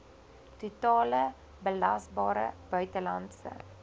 totale belasbare buitelandse